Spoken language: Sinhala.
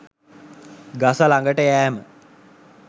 ගස ළඟට යෑම